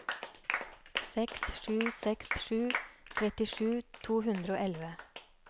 seks sju seks sju trettisju to hundre og elleve